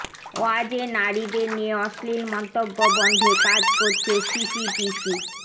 ওয়াজে নারীদের নিয়ে অশ্লীল মন্তব্য বন্ধে কাজ করছে সিটিটিসি